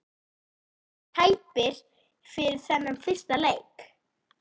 Eru einhverjir sem eru tæpir fyrir þennan fyrsta leik?